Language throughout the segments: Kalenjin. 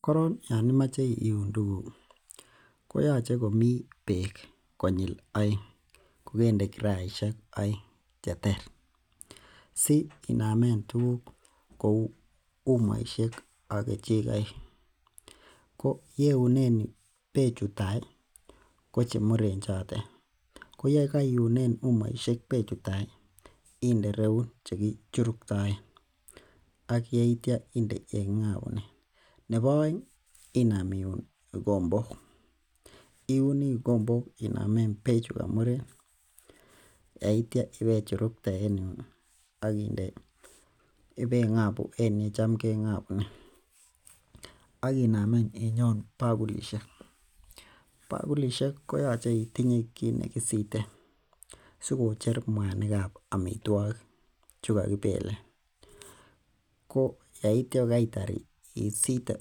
Koron Yoon imoche iuun tuguk koyoche komi beek kukende kirasiek konyil aenge cheter. SI inomen tuguk che umoisiek ak kechikoik, ko yeiunen bechu tai ko chemuren choto ko yekoounen umoisiek bechu tai iende ireuun koba chekichuruktaen ak yeitia inde yeking'abunen. Nebo oeng iuun ikombok, iuni ikombok inomen bechu kamuren yeitia ibechurukte en yuun aginde ibeng'abu en yecham keng'abunen. Akinam inyoon bokulishek, bakulishek koyoche itinye kit nekisiten sikocher mwanikab amitwakik che kakibelen yeitia kaitar isite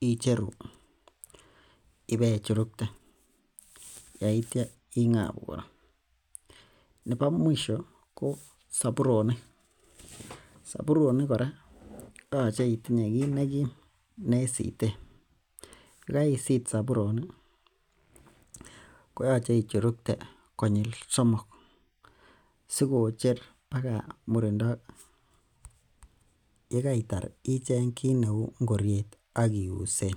icheru ibechurukte yeitia ing'abu kora nebo mwisho soburonik, koyoche itinye kit nekim nekisiten yekaisit soburonik koyoche ichurukte konyil somok SI ko cher murindo ye kaitar ichen kit ne uu ingokiet ak ius